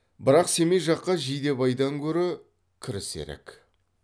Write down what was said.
бірақ семей жаққа жидебайдан көрі кірісірек